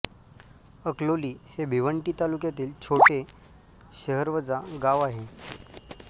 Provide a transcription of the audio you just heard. अकलोली हे भिवंडी तालुक्यातील छोटे शहरवजा गांव आहे